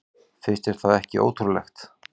Finnst þér það ekki ótrúlegt?